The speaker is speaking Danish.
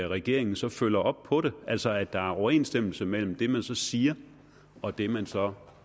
regeringen så følger op på det altså at der er overensstemmelse mellem det man siger og det man så